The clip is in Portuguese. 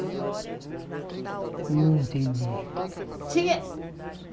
Não entendi. Tinha